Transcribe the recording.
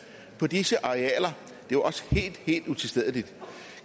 på disse arealer det er også helt helt utilstedeligt